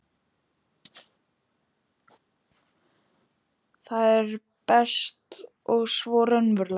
Það er best og svo raunverulegt.